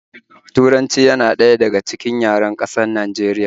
Turanci yana ɗaya daga cikin yaren ƙasar Najeriya